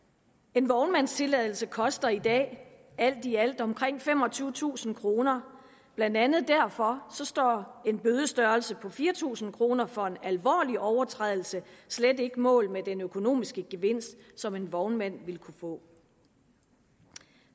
en vognmandstilladelse koster i dag alt i alt omkring femogtyvetusind kroner blandt andet derfor står en bødestørrelse på fire tusind kroner for en alvorlig overtrædelse slet ikke mål med den økonomiske gevinst som en vognmand vil kunne få